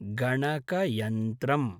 गणकयन्त्रम्